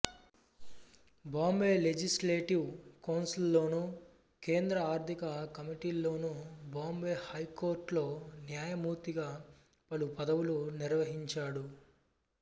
Bombay legislative కౌన్సిల్లోనూ కేంద్ర ఆర్థిక కమిటీల్లోనూ బాంబే హైకోర్టులో న్యాయమూర్తిగా పలు పదవులు నిర్వహించాడు